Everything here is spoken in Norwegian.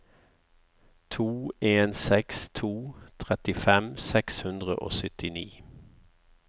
to en seks to trettifem seks hundre og syttini